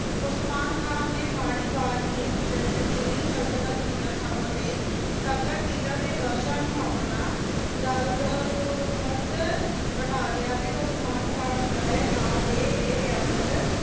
Osman Khan ਨੀ ਮਾੜੀ ਅਵਾਜ਼ ਨੀ ਨਤੀਨੀ ਸੁਲ੍ਤ੍ਨਤ ਦੀਆਂ ਥਾਵਾਂ ਤੇ ਕਬਜਾ ਕੀਤਾ ਤੇ ਵਰ੍ਸ਼ਾ ਨੂ ਆਪਣਾ ਦਾਰੁਲ ਹੁਕਮਤ ਬਣਾ ਲਿਯਾ ਤੇ ਓਸਮਾਨ ਖਾਨ ਦੇ ਨਾਂ ਤੇ ਏ ਰਿਯਾਸਤ